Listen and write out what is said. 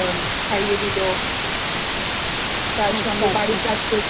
ওনাকে ছাড়িয়ে দিল তার সঙ্গে বাড়ির কাজ